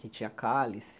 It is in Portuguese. Que tinha cálice,